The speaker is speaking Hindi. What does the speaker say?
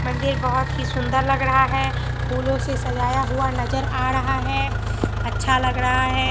मंदिर बहोत ही सुंदर लग रहा है फूलों से सजाया हुआ नजर आ रहा है अच्छा लग रहा है।